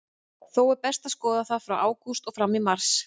Þó er best að skoða það frá ágúst og fram í mars.